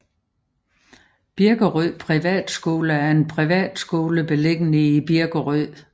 Birkerød Privatskole er en privatskole beliggende i Birkerød